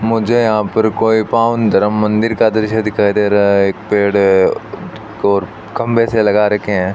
मुझे यहां पर कोई पावन धर्म मंदिर का दृश्य दिखाई दे रहा है एक पेड़ है और खंभे से लगा रखे हैं।